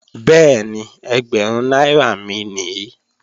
Bẹ́ẹ̀ni, ẹgbẹ̀rún náírà mi nìí